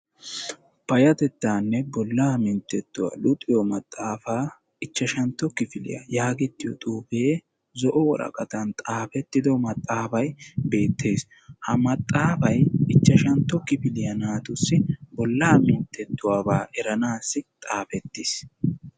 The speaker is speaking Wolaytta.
Payyatettaanne bollaa minttettuwa luxiyo maxaafaa ichchantto kifiliya yaagettiyo xuufee zo"o woraqatan xaafettido maxaafayi beettes. Ha maxaafayi ichchashantto kifiliya naatussi bollaa minttettuwabaa eranaassi xaafettis.